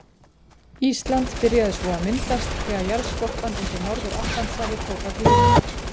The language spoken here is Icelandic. Ísland byrjaði svo að myndast þegar jarðskorpan undir Norður-Atlantshafi tók að gliðna.